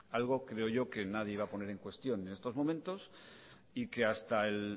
algo creo yo que nadie iba a poner en cuestión en estos momentos hasta